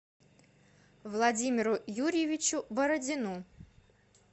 владимиру юрьевичу бородину